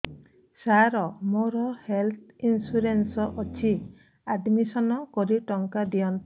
ସାର ମୋର health insurance ଅଛି admission କରି ଟଙ୍କା ଦିଅନ୍ତୁ